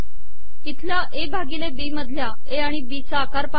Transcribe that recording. इथलया आिण ए भािगले बी मधलया ए आिण बी चा आकार पहा